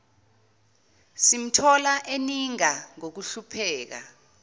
simthola eninga ngokuhlupheka